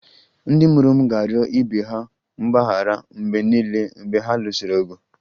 Ndị mụrụ m ga-arịọ ibe ha mgbaghara mgbe niile mgbe ha lụsịrị ọgụ